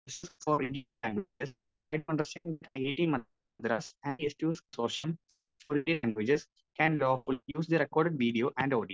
speaker 1 four IIT Madras and സ്‌2സ്‌ consortium of Indian languages can lawfully use the record video and audio